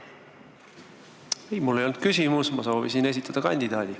Ei, mul ei olnud küsimus, ma soovisin esitada kandidaati.